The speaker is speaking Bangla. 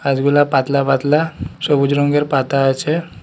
গাছগুলা পাতলা পাতলা সবুজ রঙ্গের পাতা আছে।